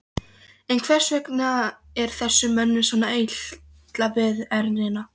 En hvers vegna er þessum mönnum svona illa við ernina?